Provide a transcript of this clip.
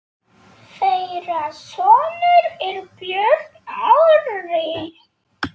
Þeirra sonur er Björn Orri.